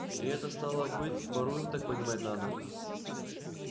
и это стало быть воруем так понимать надо